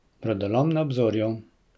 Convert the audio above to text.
Brodolom na obzorju.